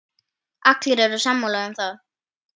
Allir eru sammála um það.